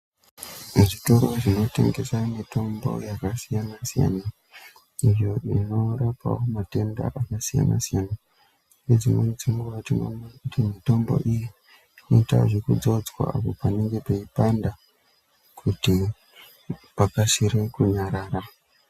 Muzvitoro zvotengeswa mutombo yakasiyana siyana iyo inorapawo matenda akasiyana siyana ngedzimweni dzenguwa mitombo iyi inoita zvekudzodzwa panenge peipanda kuti pakasire kunyarara.